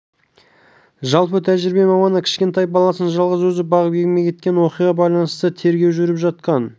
жалпы тәжірибе маманы кішкентай баласын жалғыз өзі бағып еңбек еткен оқиғаға байланысты тергеу жүріп жатқан